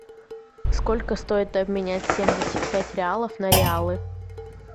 сколько стоит обменять семьдесят пять реалов на реалы